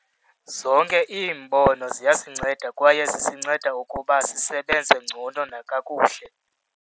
Zonke iimbono ziyasinceda kwaye zisinceda ukuba sisebenze ngcono nakakuhle.